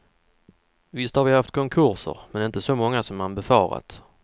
Visst har vi haft konkurser, men inte så många som man befarat.